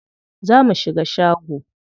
Zo mu shiga shago.